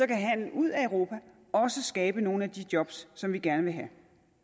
kan handlen ud af europa også skabe nogle af de job som vi gerne have